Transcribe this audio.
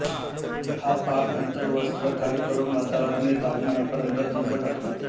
हा पाक नंतर वस्त्रगाळ करून वातावरणीय तापमानापर्यंत थंड करतात